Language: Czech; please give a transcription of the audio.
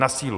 Na sílu.